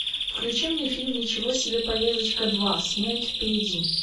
включи мне фильм ничего себе поездочка два смерть впереди